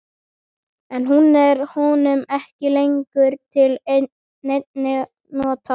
En hún er honum ekki lengur til neinna nota.